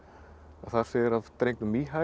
þar segir af drengnum